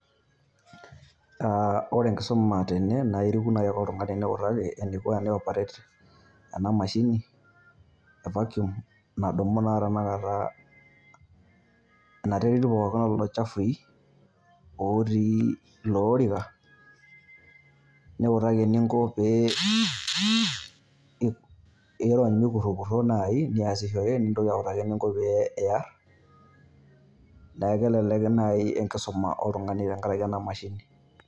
Aa ore enkisuma tene naa eriku nai likae tung'ani niliki eneiko tene operate ena mashini evacuum nadumu naa tanakata ena terit pooki elelo chafui otii ilo orika, niutaki ening'o teniasishore niutaki ening'o teneikurriekurrie niutaki ening'o pee ear, neeku kelelek naaji enkisuma oltung'ani tengaraki ena mashini.